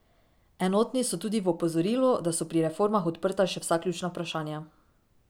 Enotni so tudi v opozorilu, da so pri reformah odprta še vsa ključna vprašanja.